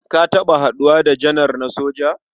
Ka taɓa haɗuwa da janar na soja?